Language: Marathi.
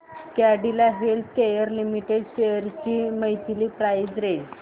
कॅडीला हेल्थकेयर लिमिटेड शेअर्स ची मंथली प्राइस रेंज